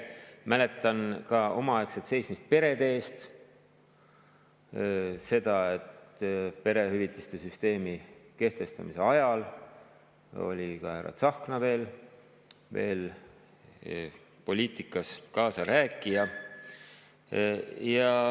Mäletan ka omaaegset seismist perede eest, seda, et perehüvitiste süsteemi kehtestamise ajal oli ka härra Tsahkna veel poliitikas kaasarääkija.